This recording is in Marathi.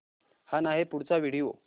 हा नाही पुढचा व्हिडिओ